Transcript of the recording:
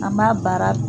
An b'a baara